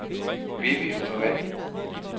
Vivi Honore